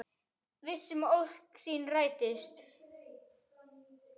Viss um að ósk sín rætist.